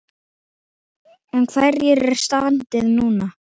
En hvernig er standið núna?